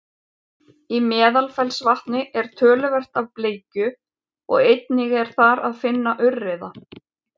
í meðalfellsvatni er töluvert af bleikju og einnig er þar að finna urriða